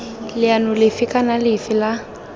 leano lefe kana lefe la